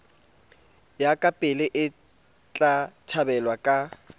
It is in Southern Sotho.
ya kapele etla thabelwa ka